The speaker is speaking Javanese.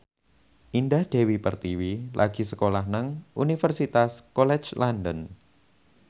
Indah Dewi Pertiwi lagi sekolah nang Universitas College London